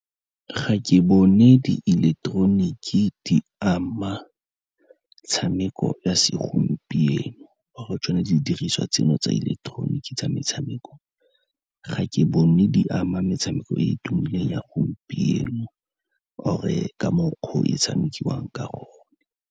Ga ke bone di ileketeroniki di ama metshameko ya segompieno or-e tsone di diriswa tseno tsa ileketeroniki tsa metshameko, ga ke bone di ama metshameko e e tumileng ya gompieno or-e ka mokgwa o e tshamekiwang ka gone.